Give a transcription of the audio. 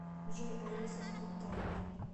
джой алиса стоп таймер